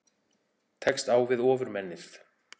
Tekst á við Ofurmennið